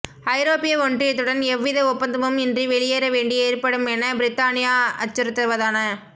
ஐரோப்பிய ஒன்றியத்துடன் எவ்வித ஒப்பந்தமும் இன்றி வெளியேறவேண்டி ஏற்படுமென பிரித்தானியா அச்சுறுத்துவதான